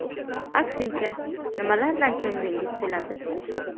Aksincha, nimalardan ko‘nglingiz to‘ladi?